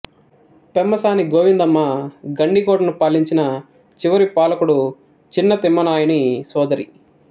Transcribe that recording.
పెమ్మసాని గోవిందమ్మ గండికోటను పాలించిన చివరి పాలకుడు చిన తిమ్మానాయుని సోదరి